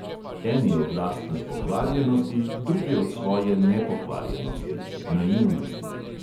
Eni od lastne pokvarjenosti, drugi od svoje nepokvarjenosti